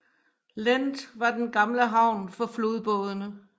Lend var den gamle havn for flodbådene